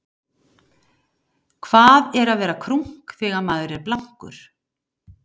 hvað er að vera krunk þegar maður er blankur